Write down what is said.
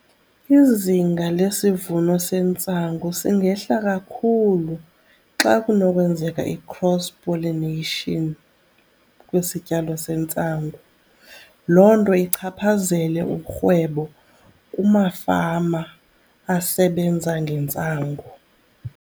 Izinga lesivuno sentsangu singehla kakhulu xa kunokwenzeka i-cross pollination kwisityalo sentsangu, loo nto ichaphazele urhwebo kumafama asebenza ngentsangu.